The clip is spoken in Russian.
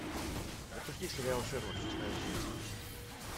запусти сериал шерлок шестая часть